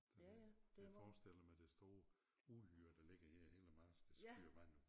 Så det jeg forestiller mig det store uhyre der ligger her hen ad marsk der spyer vand ud